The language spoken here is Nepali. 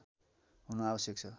हुनु आवश्यक छ